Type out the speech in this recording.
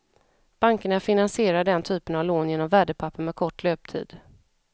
Bankerna finansierar den typen av lån genom värdepapper med kort löptid.